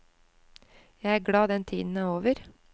Jeg er glad den tiden er over.